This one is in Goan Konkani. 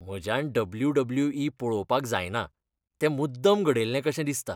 म्हज्यान डब्ल्यू.डब्ल्यू.ई. पळोवपाक जायना. तें मुद्दम घडयल्लें कशें दिसता.